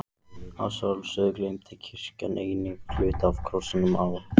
Að sjálfsögðu geymdi kirkjan einnig hluta af krossinum á